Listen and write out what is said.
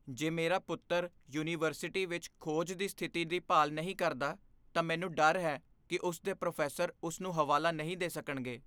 ਜੇ ਮੇਰਾ ਪੁੱਤਰ ਯੂਨੀਵਰਸਿਟੀ ਵਿੱਚ ਖੋਜ ਦੀ ਸਥਿਤੀ ਦੀ ਭਾਲ ਨਹੀਂ ਕਰਦਾ, ਤਾਂ ਮੈਨੂੰ ਡਰ ਹੈ ਕਿ ਉਸ ਦੇ ਪ੍ਰੋਫੈਸਰ ਉਸ ਨੂੰ ਹਵਾਲਾ ਨਹੀਂ ਦੇ ਸਕਣਗੇ।